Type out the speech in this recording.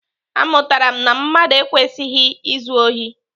Amụtara m na mmadụ ekwesịghị izu ohi.